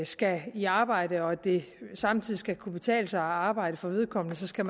skal i arbejde og at det samtidig skal kunne betale sig at arbejde for vedkommende så skal